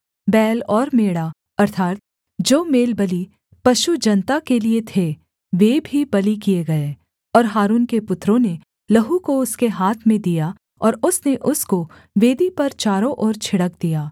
बैल और मेढ़ा अर्थात् जो मेलबलि पशु जनता के लिये थे वे भी बलि किए गए और हारून के पुत्रों ने लहू को उसके हाथ में दिया और उसने उसको वेदी पर चारों ओर छिड़क दिया